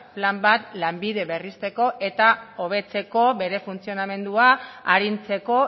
plan bat lanbide berrizteko eta hobetzeko bere funtzionamendua arintzeko